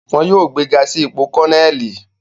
Wọn yóò gbega si ipo Kọneli